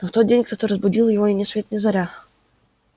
но в тот день кто-то разбудил его ни свет ни заря